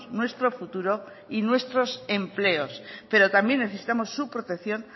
nuestro futuro y nuestros empleos pero también necesitamos su protección